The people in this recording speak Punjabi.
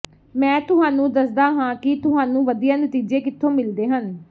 ਮੈਂ ਤੁਹਾਨੂੰ ਦੱਸਦਾ ਹਾਂ ਕਿ ਤੁਹਾਨੂੰ ਵਧੀਆ ਨਤੀਜੇ ਕਿੱਥੋਂ ਮਿਲਦੇ ਹਨ